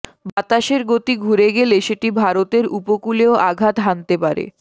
বাতাসের গতি ঘুরে গেলে সেটি ভারতের উপকূলেও আঘাত হানতে পারে